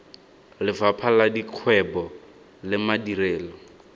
lefapha la dikgwebo le madirelo